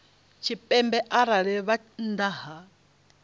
tshipembe arali vha nnḓa ha